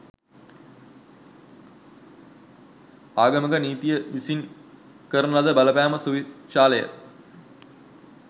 ආගමික නීතිය විසින් කරන ලද බලපෑම සුවිශාලය.